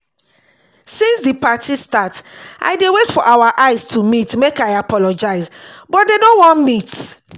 since the party start i dey wait for our eye to meet make i apologize but dey no wan meet